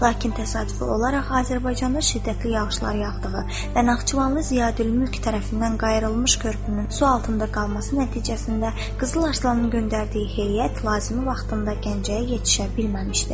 Lakin təsadüfi olaraq Azərbaycanda şiddətli yağışlar yağdığı və Naxçıvanlı Ziyadülmülk tərəfindən qayılmış körpünün su altında qalması nəticəsində Qızıl Arslanın göndərdiyi heyət lazımi vaxtında Gəncəyə yetişə bilməmişdi.